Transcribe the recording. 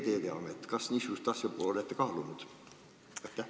Kas te niisugust asja olete kaalunud?